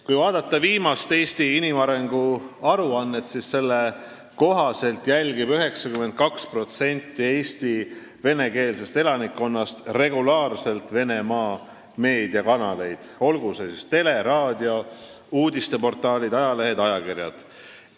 Kui vaadata viimast Eesti inimarengu aruannet, siis selle kohaselt jälgib 92% Eesti venekeelsest elanikkonnast regulaarselt Venemaa meediakanaleid, olgu nendeks televisioon, raadio, uudisteportaalid või ajalehed-ajakirjad.